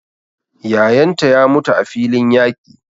Yayan ta ya mutu a filin yaƙi.